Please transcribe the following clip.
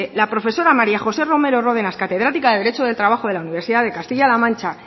la profesora maría josé romero rodenas catedrática de derecho del trabajo de la universidad de castilla la mancha